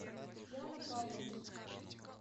яна павловна